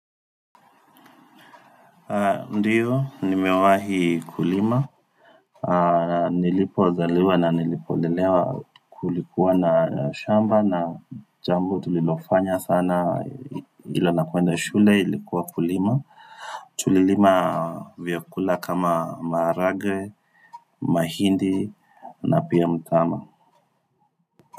Ndio, nimewahi kulima. Nilipozaliwa na nilipolelewa kulikuwa na shamba na jambo tulilofanya sana ila na kuenda shule ilikuwa kulima. Tulilima vyakula kama maharage, mahindi na pia mtama.